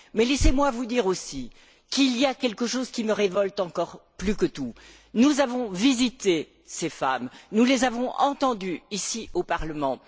Mais laissez moi vous dire, aussi, qu'il y a quelque chose qui me révolte encore plus que tout nous avons rendu visite à ces femmes, nous les avons entendues, ici, au Parlement.